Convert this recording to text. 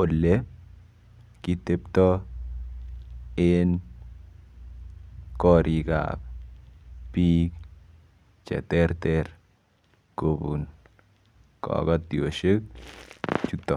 ole kiteptoi en korik ap biik che ter ter kobun kokotioshek chuto.